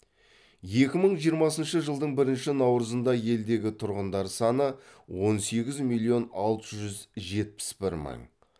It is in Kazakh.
екі мың жиырмасыншы жылдың бірінші наурызында елдегі тұрғындар саны он сегіз миллион алты жүз жетпіс бір мың